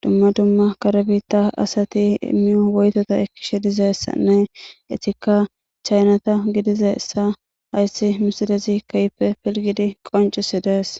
dumma dumma karbitta asati immiyo woytota ekkishe dizeessanne itikka chaynata gidizessa hayssi misidezi keype pilgidi qoncisi dees